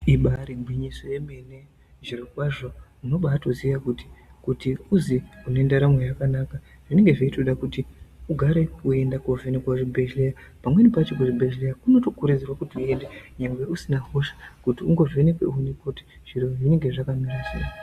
Ibari gwinyiso yemene zvirokwazvo uno batoziya kuti kuti uzi unendaramo yakanaka zvinonga zvechitoda kuti ugare veienda kovhenekwa kuchibhedhleya. Pamweni pacho kuchibhedhleya kuno tokurudzirwa kuti uende kunyangwe usina hosha undo vhenekwe kuonekwe kuti zviro zvinenge zvakamira sei.